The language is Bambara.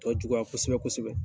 Tɔ juguya kosɛbɛ kosɛbɛ.